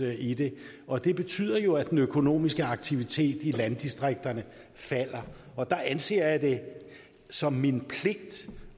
i det og det betyder jo at den økonomiske aktivitet i landdistrikterne falder og der anser jeg det som min pligt